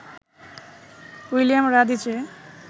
William Radice